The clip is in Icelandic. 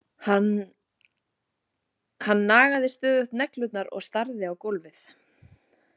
Hann nagaði stöðugt neglurnar og starði á gólfið.